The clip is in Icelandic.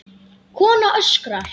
Kona öskrar.